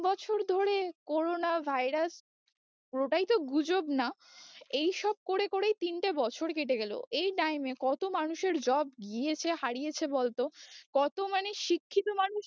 বছর ধরে corona virus পুরোটাই তো গুজব না এই সব করে করেই তিনটে বছর কেটে গেলো, এই time এ কত মানুষের job গিয়েছে হারিয়েছে বল তো কত মানে শিক্ষিত মানুষ